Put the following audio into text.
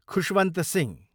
Khushwant Singh